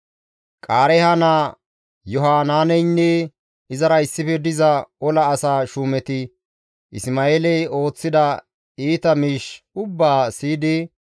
Qaareeha naa Yohanaaneynne izara issife diza ola asa shuumeti Isma7eeley ooththida iita miish ubbaa siyidi,